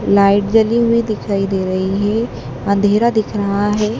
Light जली हुई दिखाई दे रही है। अंधेरा दिख रहा है।